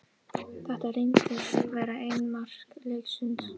Þetta reyndist vera eina mark leiksins.